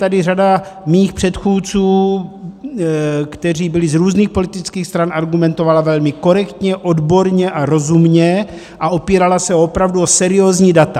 Tady řada mých předchůdců, kteří byli z různých politických stran, argumentovala velmi korektně, odborně a rozumně a opírala se opravdu o seriózní data.